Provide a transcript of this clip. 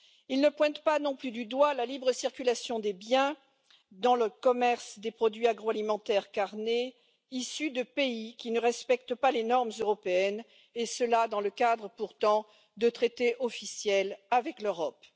Il ne pointe pas non plus du doigt la libre circulation des biens dans le commerce des produits agroalimentaires carnés issus de pays qui ne respectent pas les normes européennes et cela dans le cadre, pourtant, de traités officiels avec l'Europe.